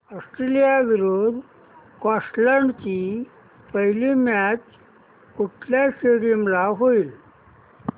Australia विरुद्ध Scotland ची पहिली मॅच कुठल्या स्टेडीयम ला होईल